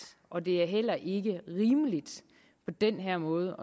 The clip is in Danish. og det er heller ikke rimeligt på den her måde